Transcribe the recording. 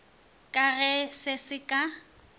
ka ge se se ka